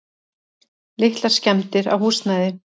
Litlar skemmdir á húsnæði.